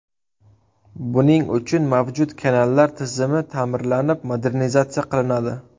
Buning uchun mavjud kanallar tizimi ta’mirlanib, modernizatsiya qilinadi.